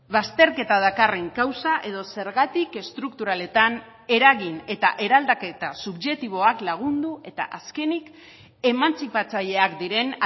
bazterketa dakarren kausa edo zergatik estrukturaletan eragin eta eraldaketa subjektiboak lagundu eta azkenik emantzipatzaileak diren